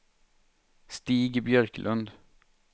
Stig Björklund